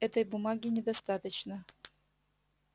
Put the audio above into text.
этой бумаги недостаточно